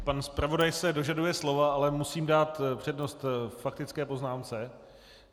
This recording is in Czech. Pan zpravodaj se dožaduje slova, ale musím dát přednost faktické poznámce.